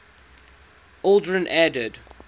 aldrin added